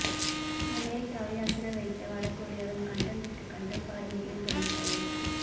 அமெரிக்காவை அசர வைத்த வடகொரியாவின் கண்டம் விட்டு கண்டம் பாயும் ஏவுகணை தயாரிப்பு